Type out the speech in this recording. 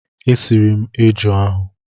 E siri m eju ahụ.